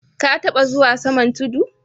Ka tabba zuwa saman tudu?